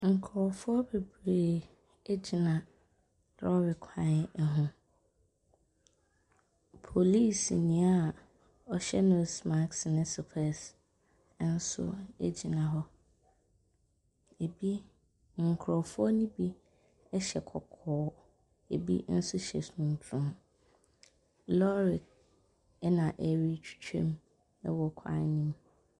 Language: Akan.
Nkurɔfoɔ bebree gyina lɔɔre kwan ho. Polisini a ɔhyw nose mask ne sopɛɛse nso gyina hɔ. Ɛbi nkurɔfoɔ no bi hyɛ kɔkɔɔ. Ɛbi nso hyɛ tuntum. Lɔɔre na ɛretwitwa mu wɔ kwan no mu.